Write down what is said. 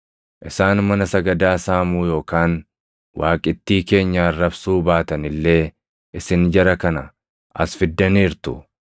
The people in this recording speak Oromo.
Isaan mana sagadaa saamuu yookaan waaqittii keenya arrabsuu baatan illee isin jara kana as fiddaniirtu.